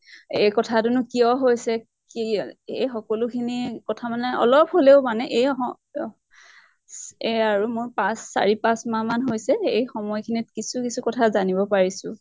এই কথা টো নো কিয় হৈছে কি আহ এই সকলোখিনি কথা মানে অলপ হলেও মানে এই স স এহ আৰু মোৰ পাঁছ চাৰি পাঁছ মাহ মান হৈছে। এই সময় খিনিত কিছু কিছু কথা জানিব পাৰিছো।